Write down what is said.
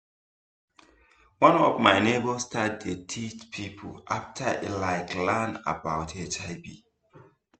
one of my neighbor start to dey teach people after e like learn about hiv